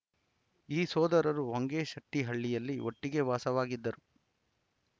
ಈ ಸೋದರರು ಹೊಂಗಶೆಟ್ಟಿಹಳ್ಳಿಯಲ್ಲಿ ಒಟ್ಟಿಗೆ ವಾಸವಾಗಿದ್ದರು